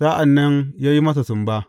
Sa’an nan ya yi masa sumba.